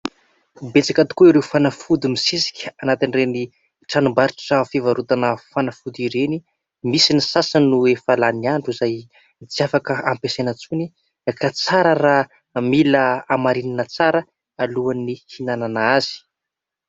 Betsaka tokoa ireo fanafody misesika anatin'ireny tranom-barotra fivarotana fanafody ireny, misy ny sasany no efa lany andro izay tsy afaka ampiasaina intsony ka tsara raha mila hamarinina tsara alohan'ny ihinanana azy.